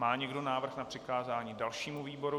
Má někdo návrh na přikázání dalšímu výboru?